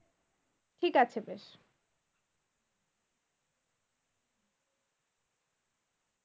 ঠিক আছে